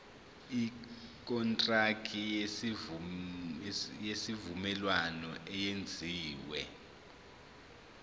ikontraki yesivumelwano eyenziwe